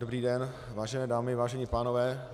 Dobrý den, vážené dámy, vážení pánové.